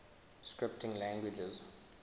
scripting languages